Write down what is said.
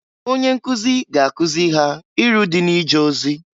Onye nkụzị ga-akụzị ha iru dị na ije ozi.